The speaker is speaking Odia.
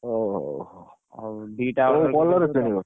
ଓ ହଉ କୋଉ colour କିଣିବ?